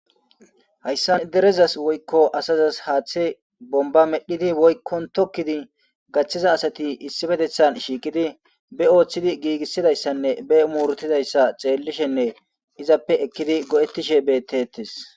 Hayssa derezas woykko asazas haaththe bomba medhidi woykkon tokkidi gachchiza asati issi bedethan shiikidi be ooththidi giigissidayssanne be muurtidayssa xeellishenne izappe ekkidi go7ettishe bettettes.